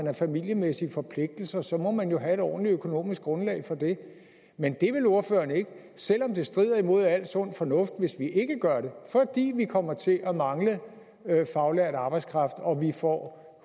har familiemæssige forpligtelser så må man jo have et ordentligt økonomisk grundlag for det men det vil ordføreren ikke selv om det strider mod al sund fornuft hvis vi ikke gør det fordi vi kommer til at mangle faglært arbejdskraft og vi får